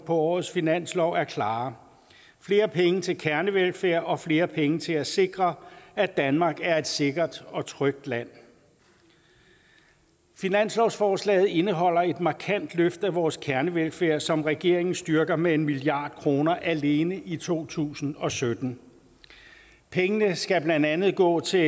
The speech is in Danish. årets finanslov er klare flere penge til kernevelfærd og flere penge til at sikre at danmark er et sikkert og trygt land finanslovsforslaget indeholder et markant løft af vores kernevelfærd som regeringen styrker med en milliard kroner alene i to tusind og sytten pengene skal blandt andet gå til